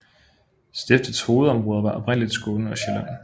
Stiftets hovedområder var oprindeligt Skåne og Sjælland